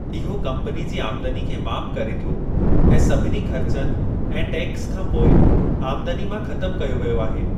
इहो कम्पनी जी आमदनी खे माप करे थो ऐं सभिनी ख़र्चनि ऐं टैक्स खां पोइ आमदनी मां ख़तमु कयो वियो आहे।